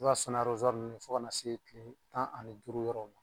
I b'a sɔn ni nn ye fo kana se tan ani duuru yɔrɔw la.